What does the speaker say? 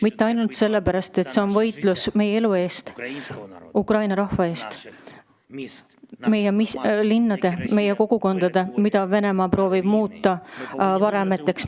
Mitte ainult sellepärast, et see on võitlus meie elu eest, Ukraina rahva eest, meie kogukondade, meie linnade eest, mida Venemaa proovib muuta varemeteks.